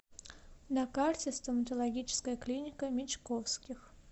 на карте стоматологическая клиника мечковских